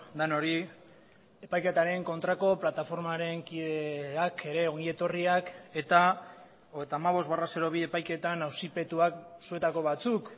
denoi epaiketaren kontrako plataformaren kideak ere ongi etorriak eta hogeita hamabost barra bi epaiketan auzipetuak zuetako batzuk